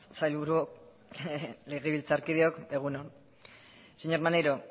sailburuak legebiltzarkideok egun on señor maneiro